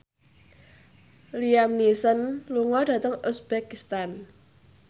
Liam Neeson lunga dhateng uzbekistan